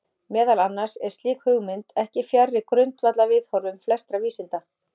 Meðal annars er slík hugmynd ekki fjarri grundvallarviðhorfum flestra vísinda.